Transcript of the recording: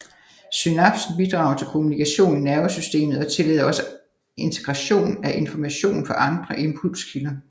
Synapsen bidrager til kommunikation i nervesystemet og tillader også integration af information fra andre impulskilder